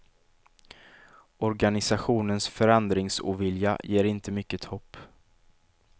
Organisationens förändringsovilja ger inte mycket hopp.